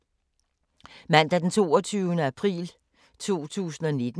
Mandag d. 22. april 2019